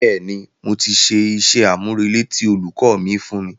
Bẹ́ẹ̀ni, mo ti ṣe iṣẹ́-àmúrelé tí olùkọ́ mi fún mi